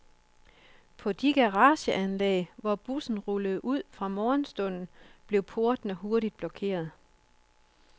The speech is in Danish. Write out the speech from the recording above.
På de garageanlæg, hvor busserne rullede ud fra morgenstunden, blev portene hurtigt blokeret.